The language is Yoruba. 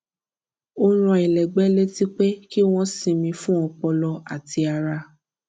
ó rán ẹlẹgbẹ létí pé kí wón sinmi fún ọpọlọ àti ara